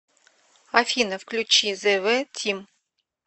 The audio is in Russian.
афина включи зэ вэ тим